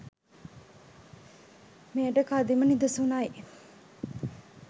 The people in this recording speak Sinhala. මෙයට කදිම නිදසුනයි.